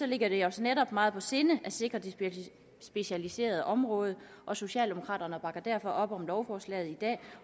ligger det os netop meget på sinde at sikre det specialiserede område socialdemokraterne bakker derfor op om lovforslaget i dag